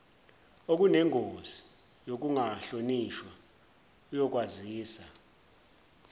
okunengozi yokungahlonishwa uyokwazisa